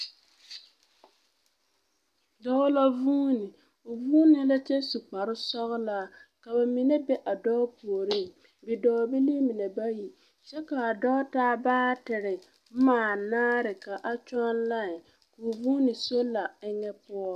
Dɔɔ la vuuni o vuunee la kyɛ su kparesɔgelaa ka bamine be a dɔɔ puoriŋ bidɔɔbilii mine bayi. Kyɛ kaa dɔɔ taa baatere bomaa naare ka a kyɔŋ lãẽ ko vuuni sola eŋɛ poɔ.